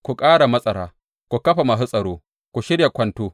Ku ƙara matsara, ku kafa masu tsaro, ku shirya kwanto!